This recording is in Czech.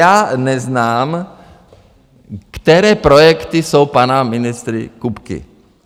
Já neznám, které projekty jsou pana ministra Kupky.